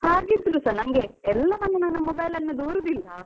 ಹಾಗಿದ್ರೂ ಸ ಎಲ್ಲವನ್ನು mobile ನ್ನು ದೂರುದಿಲ್ಲ.